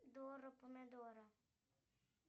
дора помидора